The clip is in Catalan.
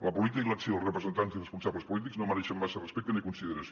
la política i l’acció dels representants i responsables polítics no mereixen massa respecte ni consideració